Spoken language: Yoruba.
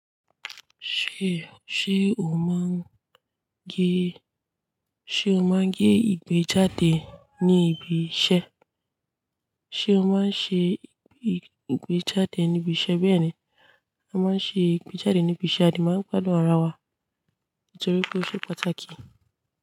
Ṣé, ṣe o máa ń gé, ṣe o máa ń gé ìgbẹ́jáde ní ibi iṣẹ́? Ṣé o máa ń ṣe ìgbẹ́jáde níbi iṣẹ́? Bẹ́ẹ̀ ni, a máa ń ṣe ìgbẹ́jáde ní ibi iṣẹ́ a dè máa ń gbádùn ara wa nítorí pé ó ṣe pàtàkì.